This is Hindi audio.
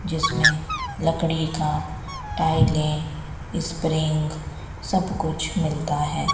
जिसमें लकड़ी का टाइलें स्प्रिंग सब कुछ मिलता है।